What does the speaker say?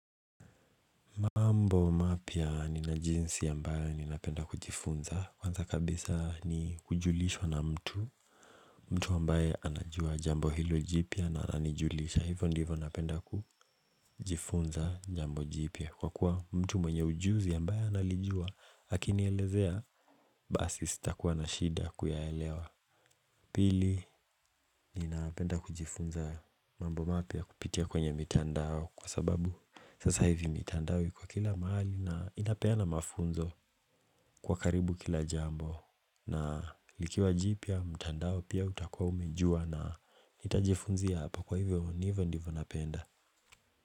Mambo mapya nina jinsi ambayo ninapenda kujifunza Kwanza kabisa ni kujulishwa na mtu mtu ambaye anajua jambo hilo jipya na anijulisha Hivyo ndivyo napenda kujifunza jambo jipya Kwa kuwa mtu mwenye ujuzi ambayo analijua akinielezea basi sitakuwa na shida ya kuyaelewa Pili ninapenda kujifunza mambo mapya kupitia kwenye mitandao Kwa sababu sasa hivi mitandao iko kila mahali na inapeana mafunzo kwa karibu kila jambo na likiwa jipya mtandao pia utakua umejua na nitajifunzia hapa kwa hivyo ni hivyo ndivyo napenda.